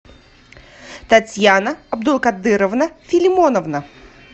татьяна абдулкадыровна филимонова